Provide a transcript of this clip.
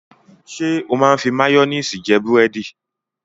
Ṣé ó máa ń fi máyónísì jẹ búrẹ́dì?